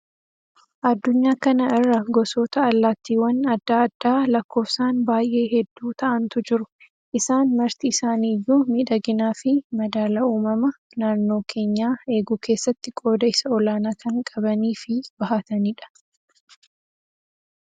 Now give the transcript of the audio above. Addunyaa kana irra gosoota allaattiiwwan addaa addaa lakkoofsaan baayyee hedduu ta'antu jiru. Isaan marti isaanii iyyuu miidhaginaa fi madaala uumama naannoo keenyaa eeguu keessatti qooda isa olaanaa kan qabanii fi bahatanidha.